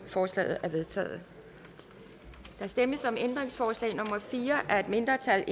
forslaget er vedtaget der stemmes om ændringsforslag nummer fire af et mindretal